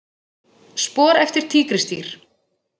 Spor eftir tígrisdýr.